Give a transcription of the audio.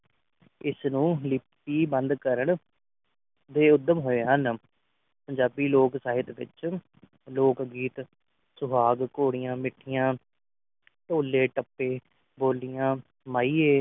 ਇਸ ਨੂੰ ਲਿਖਤੀ ਬੰਦ ਕਰਨ ਦੇ ਊਧਮ ਹੋਏ ਹਨ ਪੰਜਾਬੀ ਲੋਕ ਸਾਹਿਤ ਵਿਚ ਲੋਕ ਗੀਤ ਸੁਭਾਵ ਕੋਰੀਆ ਮਿਠੀਆਂ ਢੋਲੇ ਦਬੇ ਬੋਲਿਆ ਮਾਈਏ